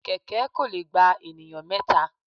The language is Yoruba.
Kẹ̀kẹ́ kò lè gba ènìyàn mẹ́ta.